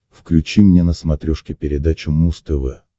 включи мне на смотрешке передачу муз тв